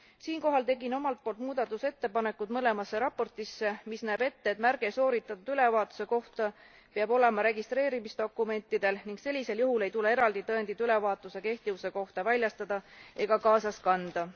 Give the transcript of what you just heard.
Siinkohal tegin omalt poolt muudatusettepanekud mõlemasse raportisse, mis näeb ette, et märge sooritatud ülevaatuse kohta peab olema registreerimisdokumentidel, ning sellisel juhul ei tule eraldi tõendit ülevaatuse kehtivuse kohta väljastada ega kaasas kanda.